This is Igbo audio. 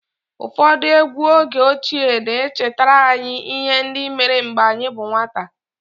Ụfọdụ egwú oge ochie na-echetara anyị ihe ndị mere mgbe anyị bụ nwata